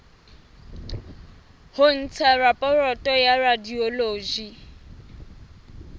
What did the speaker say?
ho ntsha raporoto ya radiology